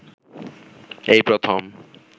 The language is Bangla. এই প্রথম